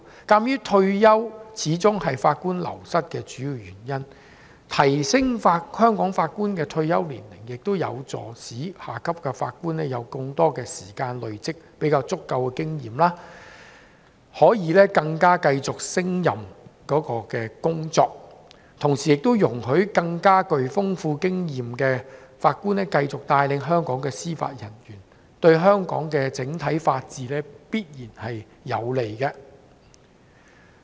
鑒於退休始終是法官流失的主要原因，提高香港法官退休年齡有助下級法官有更多時間累積經驗，可以更勝任有關工作，同時也容許具豐富經驗的法官繼續帶領香港司法人員，對香港整體法治必然有利。